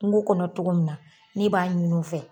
Kungo kɔnɔ togo min na ne b'a ɲin'u fɛ